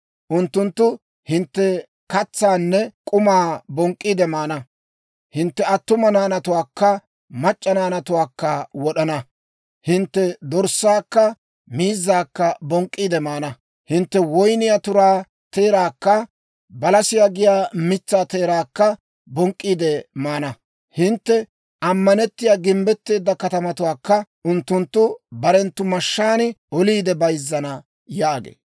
Unttunttu hintte katsaanne k'umaa bonk'k'iide maana. Hintte attuma naanatuwaakka mac'c'a naanatuwaakka wod'ana. Hintte dorssaakka miizzaakka bonk'k'iide maana. Hintte woyniyaa turaa teeraakka balasiyaa giyaa mitsaa teeraakka bonk'k'iide maana. Hintte ammanettiyaa, gimbbetteedda katamatuwaakka unttunttu barenttu mashshaan oliide bayzzana» yaagee.